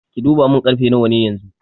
Ki duba mun karfe nawa ne yanxu?